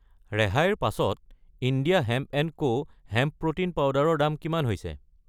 ৰেহাইৰ পাছত India hemp and co hemp protein powder ৰ দাম কিমান হৈছে?